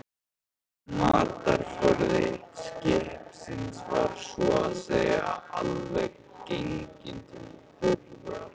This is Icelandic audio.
Matarforði skipsins var svo að segja alveg genginn til þurrðar.